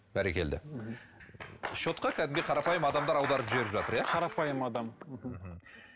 бәрекелді счетқа кәдімгідей қарапайым адамдар аударып жіберіп жатыр иә қарапайым адам мхм